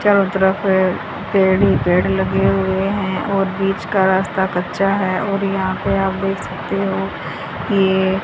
चारों तरफ पे पेड़ ही पेड़ लगे हुए हैं और बीच का रास्ता कच्चा है और यहां पे आप देख सकते हो कि ये --